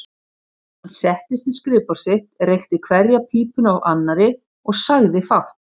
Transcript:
Hann settist við skrifborð sitt, reykti hverja pípuna af annarri og sagði fátt.